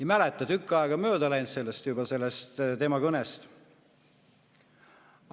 Ei mäleta, tükk aega on mööda läinud sellest tema kõnest.